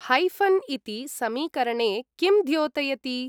Hyphen इति समीकरणे किं द्योतयति?